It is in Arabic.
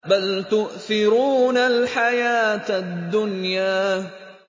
بَلْ تُؤْثِرُونَ الْحَيَاةَ الدُّنْيَا